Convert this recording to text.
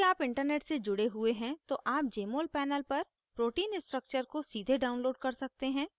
यदि आप internet से जुड़े हुए हैं तो आप jmol panel पर protein structure को सीधे download कर सकते हैं